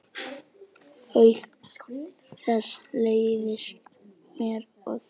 Kláraðu þessa pylsu.